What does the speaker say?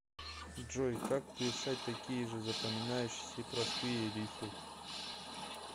джой как писать такие же запоминающиеся и простые риффы